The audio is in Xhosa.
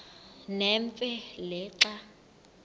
nemfe le xa